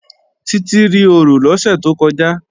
Títí rí orò lọ́sẹ̀ tó kọjá